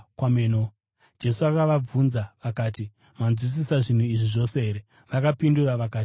Jesu akabvunza akati, “Manzwisisa zvinhu izvi zvose here?” Vakapindura vakati, “Hongu.”